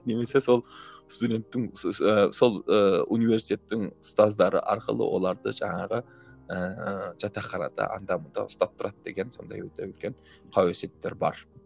немесе сол студенттің сол ы университеттің ұстаздары арқылы оларды жаңағы ыыы жатаханада анда мұнда ұстап тұрады деген сондай өте үлкен қауесеттер бар